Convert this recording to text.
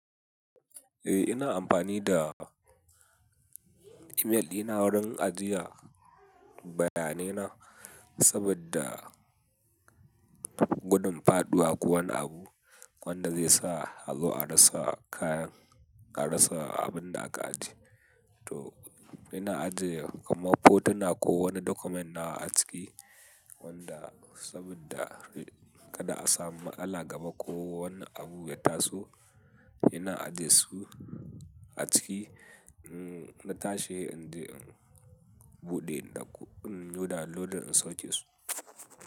Eh ina amfani da email ɗiina wurin ajiye bayanai na saboda. Gudun faɗuwa ko wani abu wanda zai sa a zo a rasa kayan, a rasa abin da aka aje. To ina ajiye kamar fotona ko wani document nawa a ciki wanda saboda kada a samu matsala gaba ko wani abu ya taso. Ina ajiye su a ciki in na tashe in je in buɗe in ɗauko, in yo downloading in sauke su.